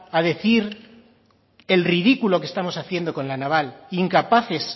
a decir el ridículo que estamos haciendo con la naval incapaces